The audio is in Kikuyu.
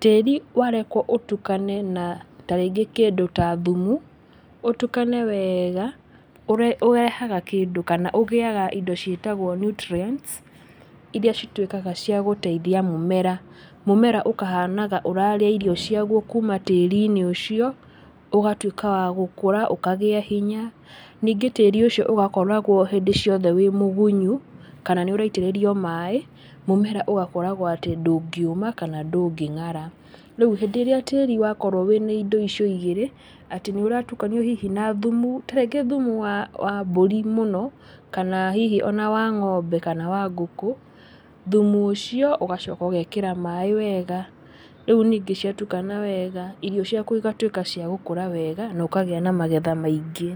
tĩri warekwo ũtukane na tarĩngĩ kĩndũ ta thumu, útukane wega, ũrehaga kĩndũ kana ũgĩaga indo ciĩtagwo nutrients iria citwĩkaga cia gũteithia mũmera, mũmera ũkahanaga ũrarĩa irio ciaguo kuma tĩri-inĩ ũcio, ũgatwĩka wa gũkũra, ũkagĩa hinya, ningĩ tĩri ũcio ũgakoragwo hĩndĩ ciothe wĩ mũgunyu, kana nĩũraitĩrĩrio maĩ, mũmera ũgakoragwo atĩ ndũngĩũma kana ndũngĩng'ara. Rĩu, hĩndĩ ĩrĩa tĩri wakorwo wĩna indo icio igĩrĩ, atĩ nĩũratukanio hihi na thumu, ta rĩngĩ thumu wa wa mbũri mũno, kana ona hihi wa ng'ombe kana wa ngũkũ, thumu ũcio ũgacoka ũgekĩra maĩ wega, rĩu ningĩ ciatukana wega irio ciaku igatwĩka cia gũkũra wega na ũkagĩa na magetha maingĩ.